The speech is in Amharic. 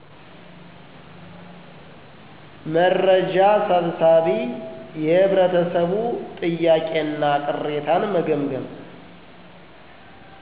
መርጃ ሰብሳቢ የህብረተሰቡ ጥያቄ እና ቅሬታን መገምገም